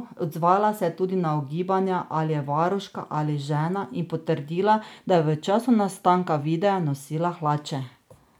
Odzvala se je tudi na ugibanja, ali je varuška ali žena, in potrdila, da je v času nastanka videa nosila hlače.